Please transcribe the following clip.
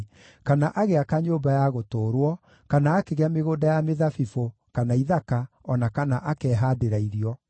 kana agĩaka nyũmba ya gũtũũrwo, kana akĩgĩa mĩgũnda ya mĩthabibũ, kana ithaka, o na kana akehaandĩra irio.